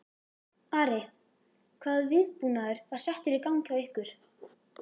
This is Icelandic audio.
Ari, hvaða viðbúnaður var settur í gang hjá ykkur?